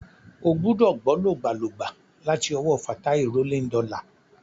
Ó gbúdọ̀ gbọ́ lògbàlògbà láti ọwọ́ Fatai Rolling Dollar.